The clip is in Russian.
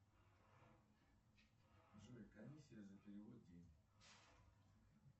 джой комиссия за перевод денег